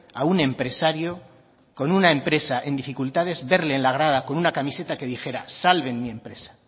a un empresario con una empresa en dificultades verle en la grada con una camiseta que dijera salven mi empresa